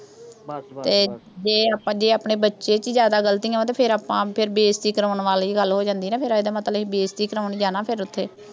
ਜੇ ਆਪਣੇ ਬੱਚੇ ਚ ਹੀ ਜ਼ਿਆਦਾ ਗਲਤੀਆਂ, ਫਿਰ ਆਪਾਂ, ਫਿਰ ਬੇਇੱਜ਼ਤੀ ਕਰਾਉਣ ਆਲੀ ਗੱਲ ਹੋ ਜਾਂਦੀ ਆ ਨਾ। ਤਾਂ ਇਹਦਾ ਮਤਲਬ ਵੀ ਅਸੀਂ ਬੇਇੱਜ਼ਤੀ ਕਰਾਉਣ ਜਾਣਾ ਫਿਰ ਉਥੇ